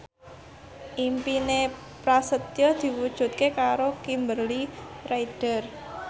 impine Prasetyo diwujudke karo Kimberly Ryder